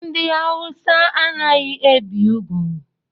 Ndị awusa anaghị ebi úgwú.